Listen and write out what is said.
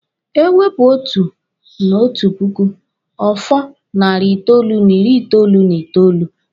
E wepụ otu n'otu puku, ọ fọ narị itoolu n'ịrị itoolu n'itoolu.